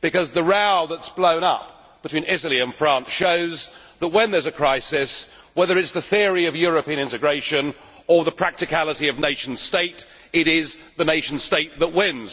because the row that has blown up between Italy and France shows that when there is a crisis, between the theory of European integration and the practicality of nation state, it is the nation state that wins.